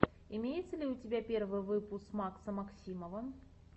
имеется ли у тебя первый выпуск макса максимова